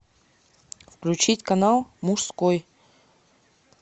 включить канал мужской